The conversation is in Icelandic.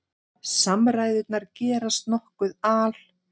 Samræðurnar gerast nokkuð al